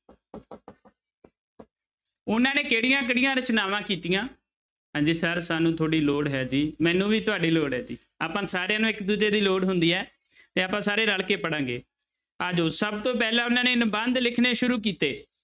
ਉਹਨਾਂ ਨੇ ਕਿਹੜੀਆਂ ਕਿਹੜੀਆਂ ਰਚਨਾਵਾਂ ਕੀਤੀਆਂ ਹਾਂਜੀ sir ਸਾਨੂੰ ਤੁਹਾਡੀ ਲੋੜ ਹੈ ਜੀ ਮੈਨੂੰ ਵੀ ਤੁਹਾਡੀ ਲੋੜ ਹੈ ਜੀ ਆਪਾਂ ਸਾਰਿਆਂ ਨੂੰ ਇੱਕ ਦੂਜੇ ਦੀ ਲੋੜ ਹੁੰਦੀ ਹੈ ਤੇ ਆਪਾਂ ਸਾਰੇ ਰਲ ਕੇ ਪੜ੍ਹਾਂਗੇ, ਆ ਜਾਓ ਸਭ ਤੋਂ ਪਹਿਲਾਂ ਉਹਨਾਂ ਨੇ ਨਿਬੰਧ ਲਿਖਣੇ ਸ਼ੁਰੂ ਕੀਤੇ।